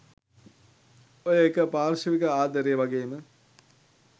ඔය ඒක පාර්ෂවික ආද‌රේ ව‌ගේම